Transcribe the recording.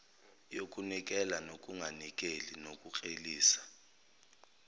yokunikela nokunganikeli nokuklelisa